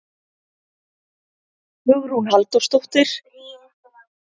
Hugrún Halldórsdóttir: En ætlið þið að halda áfram að minna þá á?